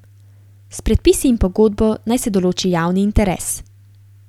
S predpisi in pogodbo naj se določi javni interes.